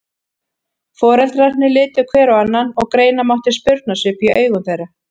Foreldrarnir litu hver á annan og greina mátti spurnarsvip í augum þeirra.